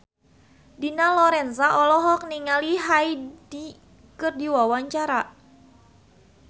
Dina Lorenza olohok ningali Hyde keur diwawancara